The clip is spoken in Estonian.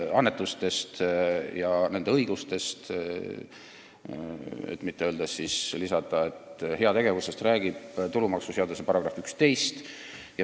Annetustest ja õigustest, kui mitte lisada, et heategevusest, räägib tulumaksuseaduse § 11.